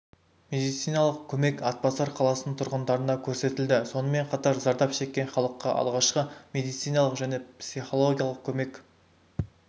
медициналық көмек атбасар қаласының тұрғындарына көрсетілді сонымен қатар зардап шеккен халыққа алғашқы медициналық және психологиялық көмек